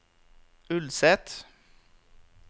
Ulset